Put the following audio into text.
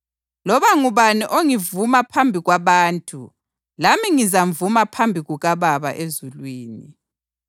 Loba ngubani ongivuma phambi kwabantu lami ngizamvuma phambi kukaBaba ezulwini.